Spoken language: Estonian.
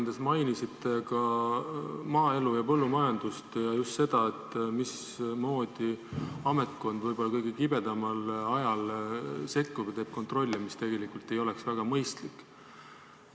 Te mainisite oma ettekandes ka maaelu ja põllumajandust ja just seda, mismoodi ametkond kõige kibedamal ajal sekkub ja teeb kontrolli, mis tegelikult ei ole väga mõistlik.